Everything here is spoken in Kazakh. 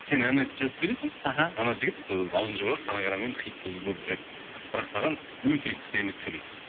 сен ән айтып жазып бересің аха анау жігіт ауызын жабады фонограммамен хит жұлдыз болып жүреді бірақ саған өте керемет төлейді